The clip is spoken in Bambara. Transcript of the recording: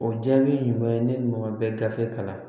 O jaabi ɲuman ye ne ni maa bɛ gafe kalan